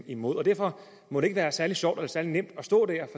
imod derfor må det ikke være særlig sjovt eller særlig nemt at stå der